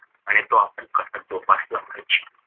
आणि तो आपण कसा जोपासला पाहिजे